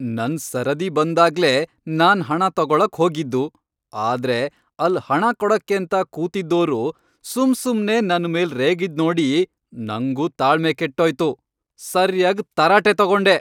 ನನ್ ಸರದಿ ಬಂದಾಗ್ಲೇ ನಾನ್ ಹಣ ತಗೊಳಕ್ ಹೋಗಿದ್ದು, ಆದ್ರೆ ಅಲ್ಲ್ ಹಣ ಕೊಡಕ್ಕೇಂತ ಕೂತಿದ್ದೋರು ಸುಮ್ಸುಮ್ನೇ ನನ್ಮೇಲ್ ರೇಗಿದ್ನೋಡಿ ನಂಗೂ ತಾಳ್ಮೆ ಕೆಟ್ಟೋಯ್ತು, ಸರ್ಯಾಗ್ ತರಾಟೆ ತಗೊಂಡೆ.